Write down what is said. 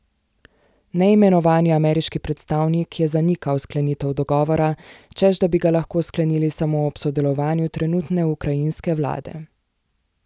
Neimenovani ameriški predstavnik je zanikal sklenitev dogovora, češ da bi ga lahko sklenili samo ob sodelovanju trenutne ukrajinske vlade.